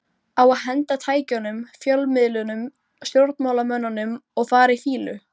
Á að henda tækjunum, fjölmiðlunum, stjórnmálamönnunum og fara í fýlu?